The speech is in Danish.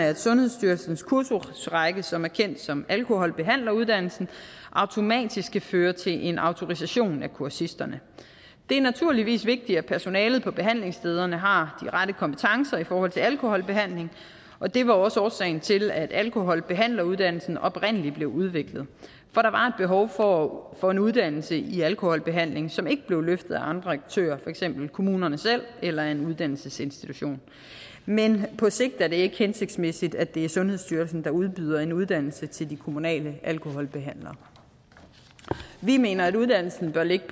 at sundhedsstyrelsens kursusrække som er kendt som alkoholbehandleruddannelsen automatisk skal føre til en autorisation af kursisterne det er naturligvis vigtigt at personalet på behandlingsstederne har rette kompetencer i forhold til alkoholbehandling og det var også årsagen til at alkoholbehandleruddannelsen oprindelig blev udviklet for for en uddannelse i alkoholbehandling som ikke blev løftet af andre aktører for eksempel kommunerne selv eller en uddannelsesinstitution men på sigt er det ikke hensigtsmæssigt at det er sundhedsstyrelsen der udbyder en uddannelse til de kommunale alkoholbehandlere vi mener at uddannelsen bør ligge